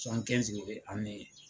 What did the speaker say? de be ani